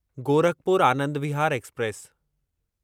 Gorakhpur Anand Vihar express